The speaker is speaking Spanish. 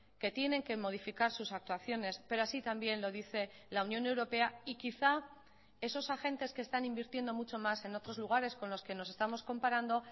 que tienen que modificar sus actuaciones pero así también lo dice la unión europea y quizá esos agentes que están invirtiendo mucho más en otros lugares con los que nos estamos comparando